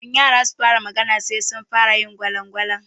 Kafin yara su fara magana, sai sun fara yin gwalaɓe.